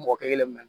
Mɔgɔ kelen min na